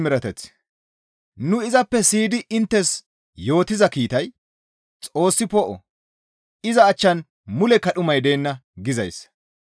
Nu izappe siyidi inttes yootiza kiitay, «Xoossi poo7o; iza achchan mulekka dhumay deenna» gizayssa.